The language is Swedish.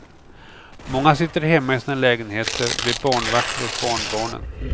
Många sitter hemma i sina lägenheter, blir barnvakter åt barnbarnen.